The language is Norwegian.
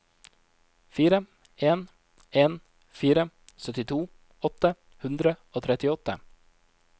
fire en en fire syttito åtte hundre og trettiåtte